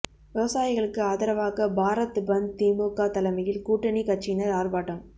விவசாயிகளுக்கு ஆதரவாக பாரத் பந்த் திமுக தலைமையில் கூட்டணி கட்சியினர் ஆர்ப்பாட்டம்